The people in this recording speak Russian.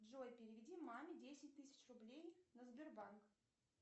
джой переведи маме десять тысяч рублей на сбербанк